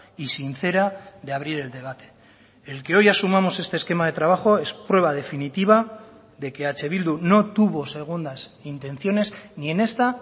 y sincera de abrir el debate el que hoy asumamos este esquema de trabajo es prueba definitiva de que eh bildu no tuvo segundas intenciones ni en esta